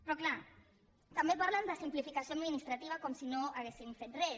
però clar també parlen de simplificació administrativa com si no haguéssim fet res